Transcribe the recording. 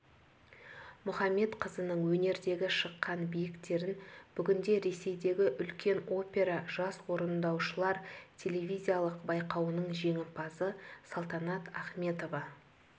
мұхамедқызының өнердегі шыққан биіктерін бүгінде ресейдегі үлкен опера жас орындаушылар телевизиялық байқауының жеңімпазы салтанат ахметова